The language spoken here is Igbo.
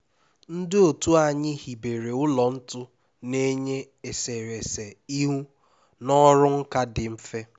ndị otu anyị hibere ụlọ ntu na-enye eserese ihu na ọrụ nka dị mfe